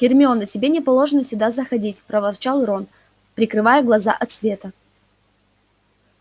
гермиона тебе не положено сюда заходить проворчал рон прикрывая глаза от света